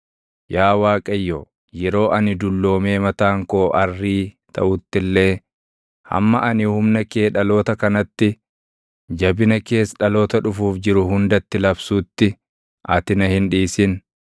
Yaa Waaqayyo, yeroo ani dulloomee mataan koo arrii taʼutti illee, hamma ani humna kee dhaloota kanatti, jabina kees dhaloota dhufuuf jiru hundatti labsuutti, ati na hin dhiisin.